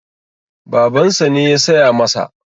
Babansa ne ya saya masa.